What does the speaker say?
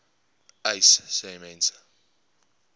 uys sê mense